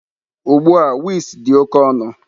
Ugbu a wigs dị oke ọnụ.